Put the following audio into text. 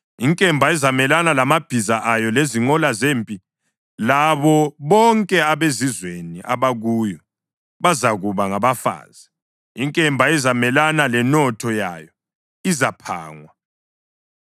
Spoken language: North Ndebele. Inkemba izamelana lamabhiza ayo lezinqola zempi labo bonke abezizweni abakuyo! Bazakuba ngabafazi. Inkemba izamelana lenotho yayo! Izaphangwa.